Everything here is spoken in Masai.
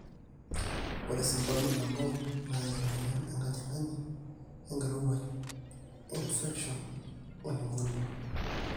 ore sababu nabo naa emueyian enkajang'ani, enkirowuaj, infection o pneumonia